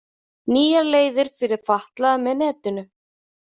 Nýjar leiðir fyrir fatlaða með netinu